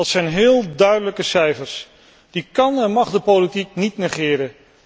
Dat zijn heel duidelijke cijfers, die kan en mag de politiek niet negeren.